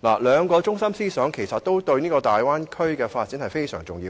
兩個中心思想對於大灣區的發展尤為重要。